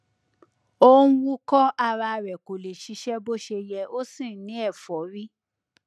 ó ń wúkọ ara rẹ kò lè ṣiṣẹ bó ṣe yẹ ó sì ń ní ẹfọrí